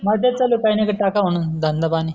नाही तेच चालू आहे काही न काही टाकाव म्हणून धंदा पानी